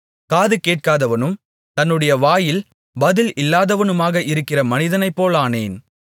காதுகேட்காதவனும் தன்னுடைய வாயில் பதில் இல்லாதவனுமாக இருக்கிற மனிதனைப் போலானேன்